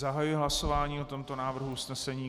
Zahajuji hlasování o tomto návrhu usnesení.